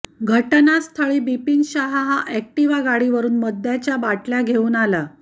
घटनास्थळी बिपिन शहा हा अॅक्टिव्हा गाडीवरून मद्याच्या बाटल्या घेऊन आला